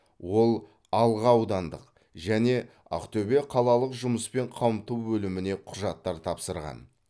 ол алға аудандық және ақтөбе қалалық жұмыспен қамту бөліміне құжаттар тапсырған